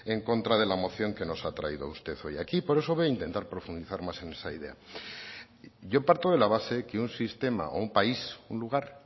en contra de la moción que nos ha traído usted hoy aquí por eso voy a intentar profundizar más en esa idea yo parto de la base que un sistema o un país un lugar